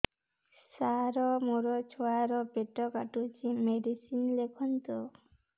ସାର ମୋର ଛୁଆ ର ପେଟ କାଟୁଚି ମେଡିସିନ ଲେଖନ୍ତୁ